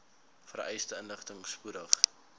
vereiste inligting spoedig